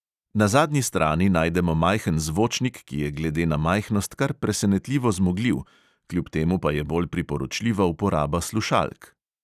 Na zadnji strani najdemo majhen zvočnik, ki je glede na majhnost kar presenetljivo zmogljiv, kljub temu pa je bolj priporočljiva uporaba slušalk.